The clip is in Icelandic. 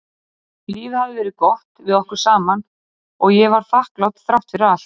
Lífið hafði verið gott við okkur saman og ég var þakklát þrátt fyrir allt.